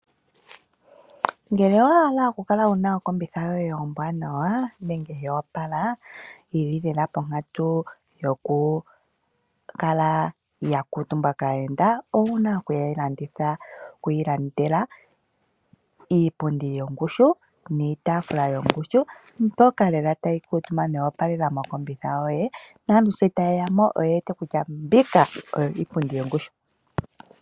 Ngele owa hala okukala wu na oseti yoye ombwanawa nenge yo opala yi li lela ponkatu yokukala ya kuutumbwa kaayenda owu na oku yi landela iipundi yongushu niitaafula yongushu mbyoka lela tayi kuutumbwa yopalela moseti yoye naantu shi taye ya mo oye wete kutya mbika oyo iipundi yongushu.